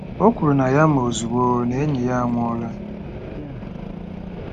O kwuru na ya ma ozugbo na enyi ya anwụọla.